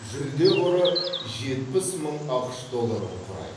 жүлде қоры жетпіс мың ақш долларын құрайды